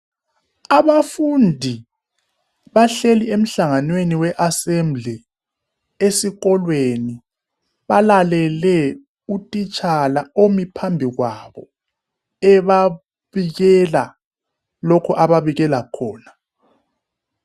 Abafundi bahleli emhlanganweni weAsembly esikolweni balalele uthitshala omi phambili kwabo ebabikela lokhu ababikela khona.